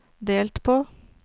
delt på